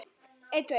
Á getur átt við